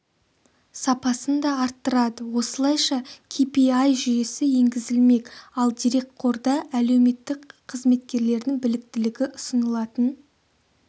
сапасын да арттырады осылайша ки пи ай жүйесі енгізілмек ал дерекқорда әлеуметтік қызметкерлердің біліктілігі ұсынылатын